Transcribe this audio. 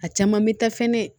A caman bɛ taa fɛnɛ